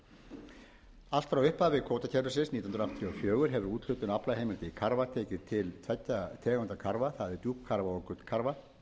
í fræðsluskyni allt frá upphafi kvótakerfisins nítján hundruð áttatíu og fjögur hefur úthlutun aflaheimilda í karfa tekið til tveggja tegunda karfa það er djúpkarfa og gullkarfa